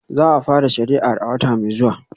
Za a fara shari'ar a wata mai zuwa